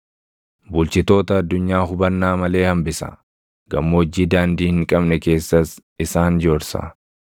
Bulchitoota addunyaa hubannaa malee hambisa; gammoojjii daandii hin qabne keessas isaan joorsa.